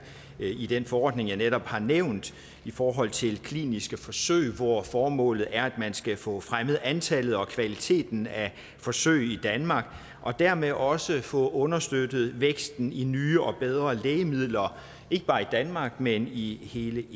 i den forordning jeg netop har nævnt i forhold til kliniske forsøg hvor formålet er at man skal få fremmet antallet og kvaliteten af forsøg i danmark og dermed også få understøttet væksten i nye og bedre lægemidler ikke bare i danmark men i hele